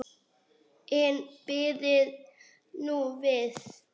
En bíðið nú við.